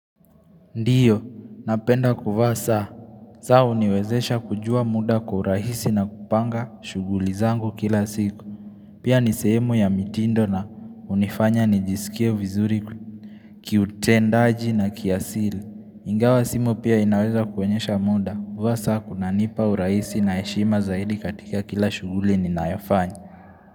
Ndiyo, napenda kuvaa saa, saa uniwezesha kujua muda kwa urahisi na kupanga shughuli zangu kila siku. Pia nisehemu ya mitindo na unifanya nijisikia vizuri kiutendaji na kiasili. Ingawa simu pia inaweza kuonyesha muda, kuvaa saa kuna nipa urahisi na heshima zaidi katika kila shughuli ninayofanya.